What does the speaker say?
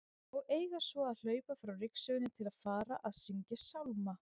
Og eiga svo að hlaupa frá ryksugunni til að fara að syngja sálma!